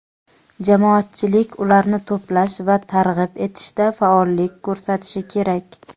jamoatchilik ularni to‘plash va targ‘ib etishda faollik ko‘rsatishi kerak.